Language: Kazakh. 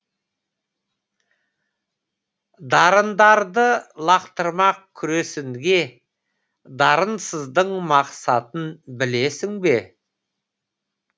дарындарды лақтырмақ күресінге дарынсыздың мақсатын білесің бе